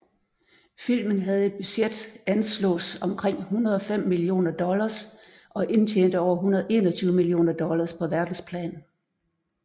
Filmen havde et budget anslås omkring 105 millioner dollars og indtjente over 121 millioner dollars på verdensplan